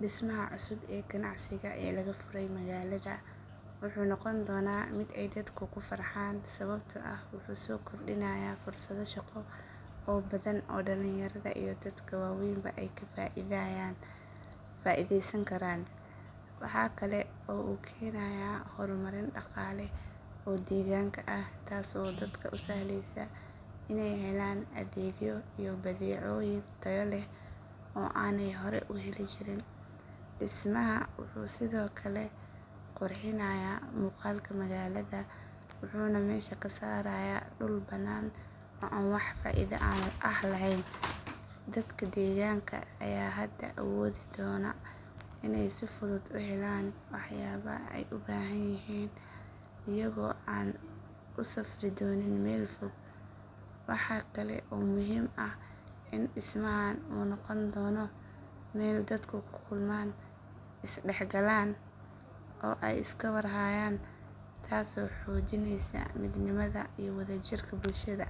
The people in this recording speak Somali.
Dhismaha cusub ee ganacsiga ee laga furay magaalada wuxuu noqon doonaa mid ay dadku ku farxaan sababtoo ah wuxuu soo kordhinayaa fursado shaqo oo badan oo dhalinyarada iyo dadka waaweynba ay ka faa'iidaysan karaan. Waxaa kale oo uu keenayaa horumarin dhaqaale oo deegaanka ah taasoo dadka u sahlaysa inay helaan adeegyo iyo badeecooyin tayo leh oo aanay hore u heli jirin. Dhismahan wuxuu sidoo kale qurxinayaa muuqaalka magaalada, wuxuuna meesha ka saarayaa dhul bannaan oo aan wax faa’iido ah lahayn. Dadka deegaanka ayaa hadda awoodi doona inay si fudud u helaan waxyaabaha ay u baahanyihiin iyagoo aan u safri doonin meel fog. Waxa kale oo muhiim ah in dhismahan uu noqon doono meel dadku ku kulmaan, is dhexgalaan, oo ay iska war hayaan taasoo xoojinaysa midnimada iyo wadajirka bulshada.